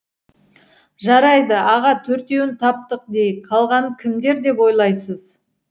жарайды аға төртеуін таптық дейік қалғаны кімдер деп ойлайсыз